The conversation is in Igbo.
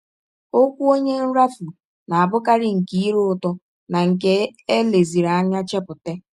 Ọkwụ ọnye nrafu na - abụkarị nke ire ụtọ na nke e leziri anya chepụta.